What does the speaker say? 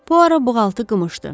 Puara buğaltı qımışdı.